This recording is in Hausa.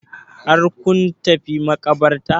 Har kun tafi maƙabartar?